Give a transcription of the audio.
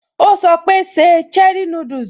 Ó sọ pé, 'Se cherie núdùsì'